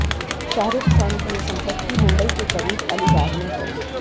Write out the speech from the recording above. शाहरुख खान की यह संपत्ति मुंबई के करीब अलीबाग में है